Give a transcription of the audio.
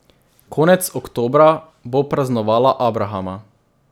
Konec oktobra bo praznovala abrahama.